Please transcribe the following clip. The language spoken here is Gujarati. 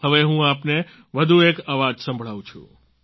હવે હું આપને વધુ એક અવાજ સંભળાવું છું